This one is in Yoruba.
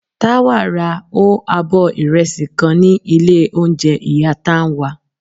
Tawa ra o abọ irẹsi kan ni ilé ounjẹ iya Tánwa.